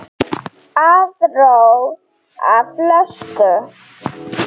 Aðra flösku?